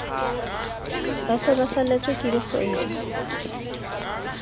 ba se ba saletsweke dikgwedi